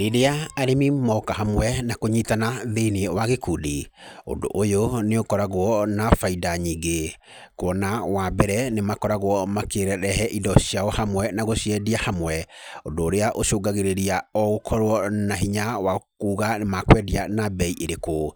Rĩrĩa arĩmi moka hamwe, na kũnyitana thĩiniĩ wa gĩkundi, ũndũ ũyũ nĩ ũkoragwo na baida nyingĩ. Kuona wa mbere, nĩ makoragwo makĩrehe indo ciao hamwe na gũciendia hamwe. Ũndũ ũrĩa ũcũngagĩrĩria o gũkorwo na hinya wa kuuga makwendia na mbei ĩrĩkũ.